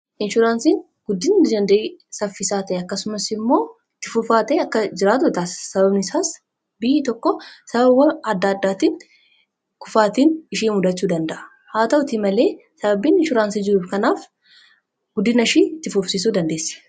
inshuraansiin guddin saffisaate akkasumas immoo tifufaate akka jiraatotaas sababanisaas bi tokko sabawa adda addaatiin kufaatiin ishii mudachuu danda'a haa ta'uti malee sababiin inshuraansii jiruuf kanaaf guddinsh tifuufsisuu dandeessi